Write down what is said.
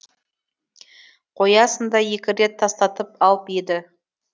қоясын да екі рет тастатып алып еді